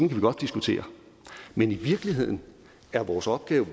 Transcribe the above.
vi godt diskutere men i virkeligheden er vores opgave